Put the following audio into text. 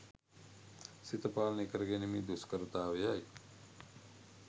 සිත පාලනය කරගැනීමේ දුෂ්කරතාවයයි.